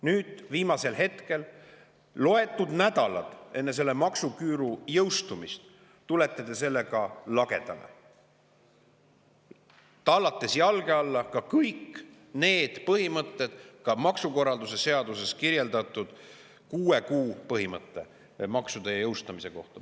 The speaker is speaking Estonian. Nüüd, viimasel hetkel, loetud nädalad enne maksuküüru jõustumist, tulete te lagedale, tallates jalge alla kõik põhimõtted maksukorralduse seaduses, ka kuue kuu põhimõtte maksude jõustamise kohta.